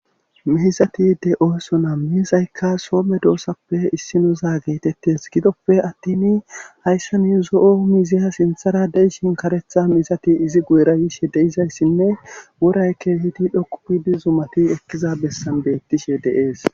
Miisati de7ooso naa miizaykka soome doossappe issinoza geetettes gidoppe attin hayssa ni zo7o miziya sintharadeyshin karetha miisati izi guyra yishe deizayssinne woraykke hidi dhoqupidi zumati ekkiza bessan beettishe deees.